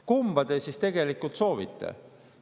Kumba te siis tegelikult soovite?